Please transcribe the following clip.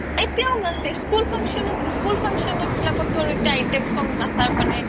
এতিয়াও নাচে school function, school function বিলাক তো আৰু এতিয়া item song নাচা